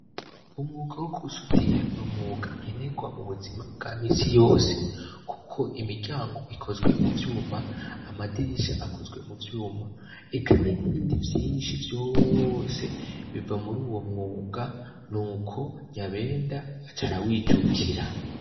Umwuga wo gusudira n'umwuga nkenerwa mu buzima bwa misi yose kuko imiryango ikozwe mu vyuma, amadirisha akozwe mu vyuma, eka n'ibindi vyinshi vyose biva muri uwo mwuga, nuko Nyabenda aca arawijukira.